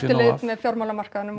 fjármálamarkaðnum og